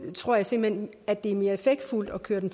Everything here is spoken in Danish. tror jeg simpelt hen at det er mere effektfuldt at gøre det